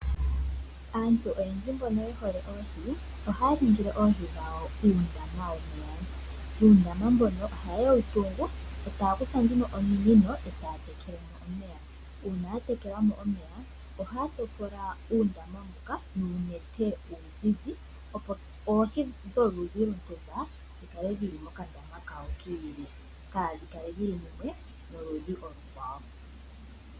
Aantu oyendji mbono yehole oohi ohaya ningile oohi dhawo uundama womeya. Uundama mbono ohaye wutungu etaya kutha ominino eta yatekelemo omeya, uuna yatekelamo omeya ohaya topola uundama mboka nuunete uuzizi opo oohi dholudhi lwontumba dhikale dhili mokandama kadho kiili kaadhikale dhili noludhi olukwawo.